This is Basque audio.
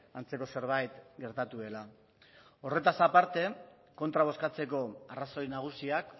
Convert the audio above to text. antzeko zerbait gertatu dela horretaz aparte kontra bozkatzeko arrazoi nagusiak